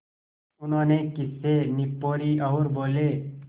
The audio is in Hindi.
उन्होंने खीसें निपोरीं और बोले